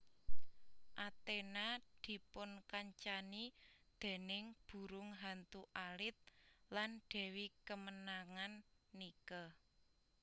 Athena dipunkancani déning burung hantu alit lan dewi kemenangan Nike